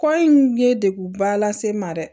Kɔ in ye degunba lase n ma dɛ